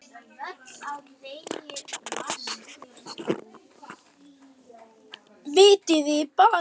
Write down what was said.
Vitiði bara til!